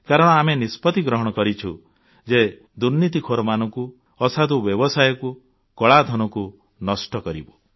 କାରଣ ଆମେ ନିଷ୍ପତ୍ତି ଗ୍ରହଣ କରିଛୁ ଯେ ଦୁର୍ନୀତିଖୋରମାନଙ୍କୁ ଅସାଧୁ ବ୍ୟବସାୟୀକୁ କଳାଧନକୁ ନଷ୍ଟ କରିବୁ